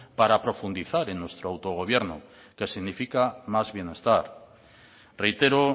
para profundizar en nuestro autogobierno que significa más bienestar reitero